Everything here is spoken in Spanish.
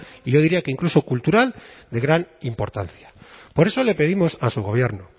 y yo diría que incluso cultural de gran importancia por eso le pedimos a su gobierno